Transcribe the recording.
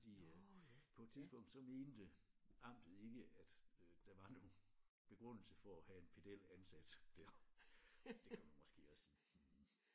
Fordi øh på et tidspunkt så mente amtet ikke at øh der var nogen begrundelse for at have en pedel ansat der det kunne man måske også sige hmm